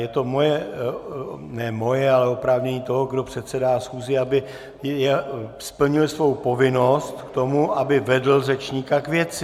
Je to moje - ne moje, ale oprávnění toho, kdo předsedá schůzi, aby splnil svou povinnost k tomu, aby vedl řečníka k věci.